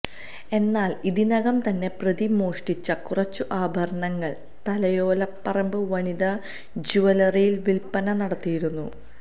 എന്നാല് ഇതിനകം തന്നെ പ്രതി മോഷ്ടിച്ച കുറച്ച് ആഭരണങ്ങള് തലയോലപ്പറമ്പ് വനിതാ ജുവലറിയില് വില്പ്പന നടത്തിയിരുന്നു